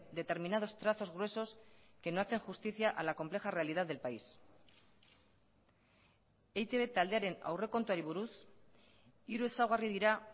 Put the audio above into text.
determinados trazos gruesos que no hacen justicia a la compleja realidad del país eitb taldearen aurrekontuari buruz hiru ezaugarri dira